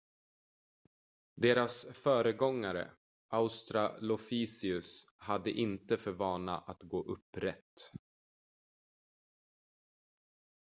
deras föregångare australopithecus hade inte för vana att gå upprätt